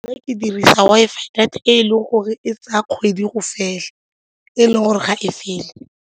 Nna ke dirisa Wi-Fi data e e leng gore e tsaya kgwedi go fela e e leng gore ga e fele.